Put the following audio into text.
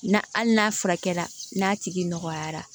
N'a hali n'a furakɛra n'a tigi nɔgɔyara